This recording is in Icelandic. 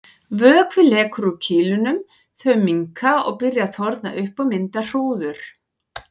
Vökvi lekur úr kýlunum, þau minnka og byrja að þorna upp og mynda hrúður.